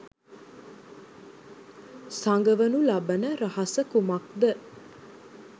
සගවනු ලබන රහස කුමක්ද?